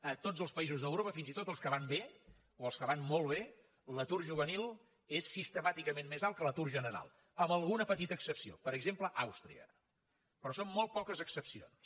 a tots els països d’europa fins i tot els que van bé o els que van molt bé l’atur juvenil és sistemàticament més alt que l’atur general amb alguna petita excepció per exemple àustria però són molt poques excepcions